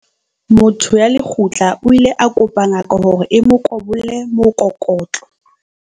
motho ya lekgutla o ile a kopa ngaka hore e mo kobolle mokokotlo